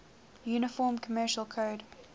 uniform commercial code